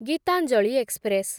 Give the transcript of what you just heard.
Gitanjali express